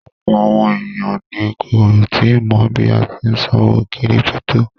Ọ̀pọ̀ àwọn èèyàn ni kò tíì mọ̀ bí a tí n ṣòwò kírípítò